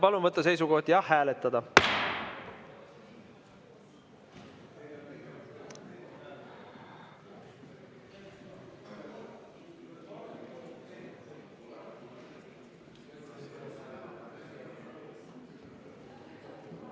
Palun võtta seisukoht ja hääletada!